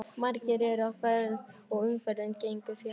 Margir eru á ferð og umferðin gengur því hægt.